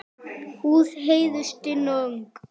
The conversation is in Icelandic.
Húð Heiðu stinn og ung.